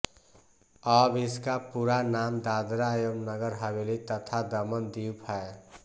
अब इसका पूरा नाम दादरा एवं नगर हवेली तथा दमन द्वीप है